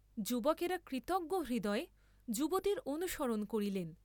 যুবকেরা কৃতজ্ঞ হৃদয়ে যুবতীর অনুসরণ করিলেন।